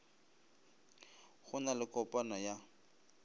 go na le kopano ya